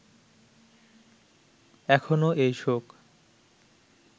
এখনো এই শোক